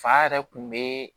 Fa yɛrɛ kun be